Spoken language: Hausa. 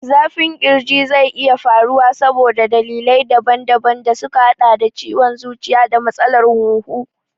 Zafin ƙirji zai iya faruwa saboda dalilai daban daban da suka haɗa da ciwon zuciya da matsalar hunhu.